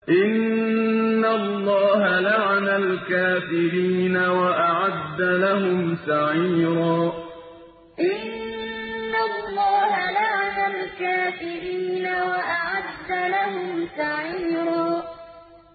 إِنَّ اللَّهَ لَعَنَ الْكَافِرِينَ وَأَعَدَّ لَهُمْ سَعِيرًا إِنَّ اللَّهَ لَعَنَ الْكَافِرِينَ وَأَعَدَّ لَهُمْ سَعِيرًا